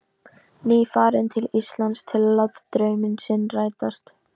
Nýfarinn til Íslands til að láta draum sinn rætast.